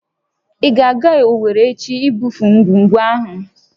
Ị ga-aga Owerri echi ibufe ngwugwu ahụ!